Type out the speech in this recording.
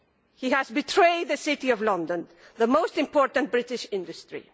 He has betrayed the City of London the most important British industry.